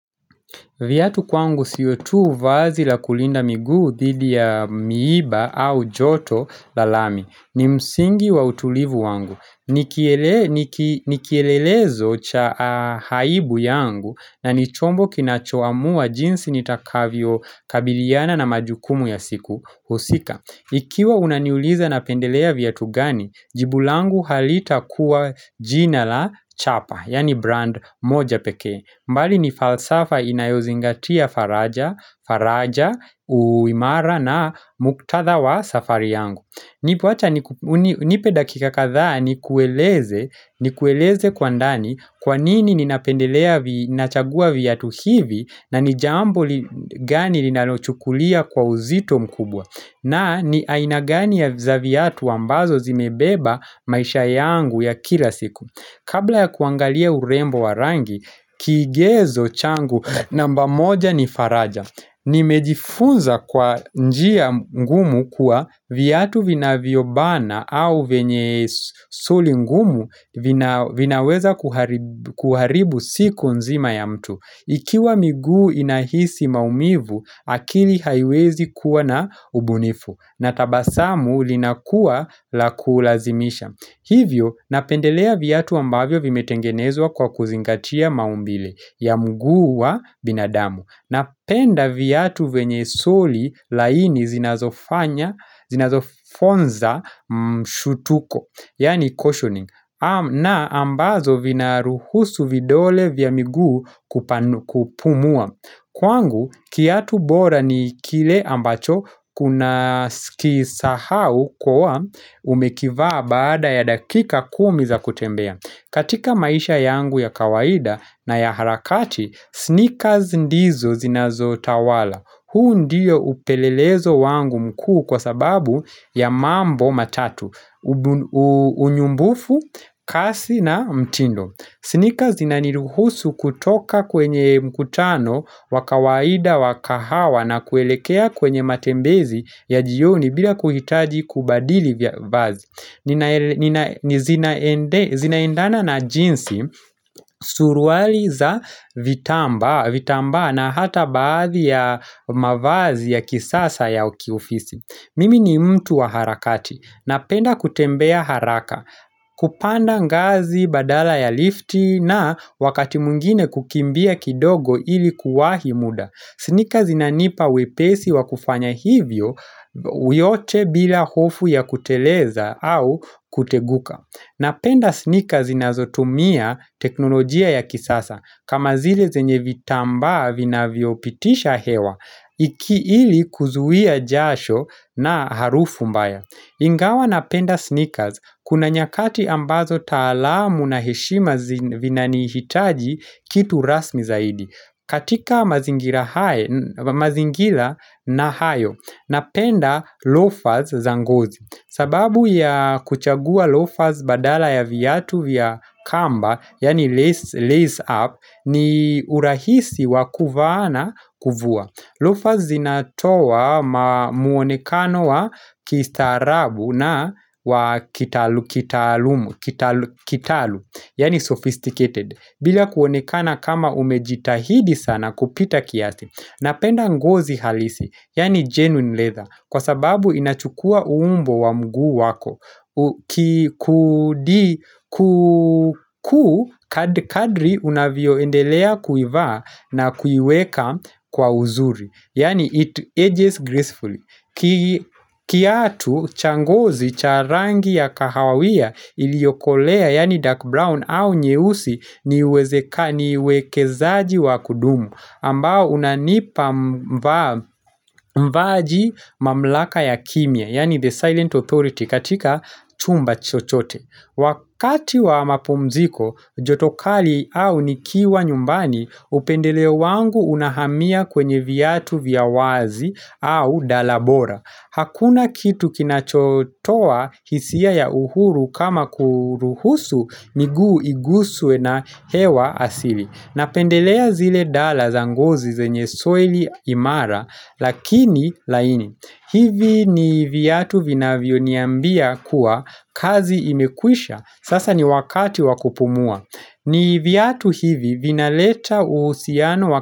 Viatu kwangu siotu vazi la kulinda migu dhidi ya miiba au joto lalami ni msingi wa utulivu wangu. Nikielelezo cha haibu yangu na nichombo kinachoamua jinsi nitakavyo kabiliana na majukumu ya siku husika. Ikiwa unaniuliza na pendelea vyatu gani, jibulangu halita kuwa jina la chapa, yani brand moja peke. Mbali ni falsafa inayozingatia faraja, faraja, uimara na muktadha wa safari yangu Nipe dakika kadha ni kueleze kwa ndani kwa nini ninapendelea nachagua viatu hivi na nijambo gani ninalochukulia kwa uzito mkubwa na ni ainagani ya zaviatu wambazo zimebeba maisha yangu ya kila siku Kabla ya kuangalia urembo warangi, kigezo changu namba moja nifaraja Nimejifunza kwa njia ngumu kuwa viatu vina viobana au venye soli ngumu vinaweza kuharibu siku nzima ya mtu Ikiwa miguu inahisi maumivu, akili haiwezi kuwa na ubunifu na tabasamu linakua la kulazimisha Hivyo, napendelea vyatu ambavyo vimetengenezwa kwa kuzingatia maumbile ya mguu wa binadamu. Napenda viatu venye soli laini zinazofanya, zinazofonza mshutuko, yani cautioning. Na ambazo vinaruhusu vidole vya mguu kupumua. Kwangu kiatu bora ni kile ambacho kuna sikisahau kwa umekivaa baada ya dakika kumi za kutembea. Katika maisha yangu ya kawaida na ya harakati, sneakers ndizo zinazo tawala. Huu ndio upelelezo wangu mkuu kwa sababu ya mambo matatu, unyumbufu, kasi na mtindo. Snickers zina niruhusu kutoka kwenye mkutano, wakawaida, wakahawa na kuelekea kwenye matembezi ya jioni bila kuhitaji kubadili vya vazi ni zinaendana na jinsi suruali za vitamba na hata baadhi ya mavazi ya kisasa ya uki ofisi Mimi ni mtu wa harakati Napenda kutembea haraka kupanda ngazi, badala ya lifti na wakati mungine kukimbia kidogo ilikuwa hi muda. Sneakers inanipa wepesi wa kufanya hivyo uyote bila hofu ya kuteleza au kuteguka. Napenda sneakers inazotumia teknolojia ya kisasa kama zile zenye vitamba vina viopitisha hewa iki ili kuzuia jasho na harufu mbaya. Ingawa napenda sneakers kuna nyakati ambazo taalamu na heshima zinani hitaji kitu rasmi zaidi. Katika mazingila na hayo, napenda loafers zangozi. Sababu ya kuchagua loafers badala ya viyatu vya kamba, yani lace up, ni urahisi wakuvana kuvua. Loafers zinatoa muonekano wa kistarabu na wa kitalu, yani sophisticated. Bila kuonekana kama umejitahidi sana kupita kiasi Napenda ngozi halisi, yani genuine leather, kwa sababu inachukua uumbo wa mgu wako. Kadri unavioendelea kuivaa na kuiweka kwa uzuri. Yani it ages gracefully. Kiatu changozi charangi ya kahawia iliokolea yani dark brown au nyeusi ni wekezaji wa kudumu ambao unanipa mbaji mamlaka ya kimia yani the silent authority katika chumba chochote Wakati wa mapumziko, jotokali au nikiwa nyumbani, upendele wangu unahamia kwenye viatu viyawazi au dalabora. Hakuna kitu kinachotoa hisia ya uhuru kama kuruhusu miguu igusuwe na hewa asili. Napendelea zile dolla zangozi zenye soil imara lakini laini. Hivi ni viyatu vinavyo niambia kuwa kazi imekwisha sasa ni wakati wakupumua. Ni viyatu hivi vinaleta uhusiano wakati.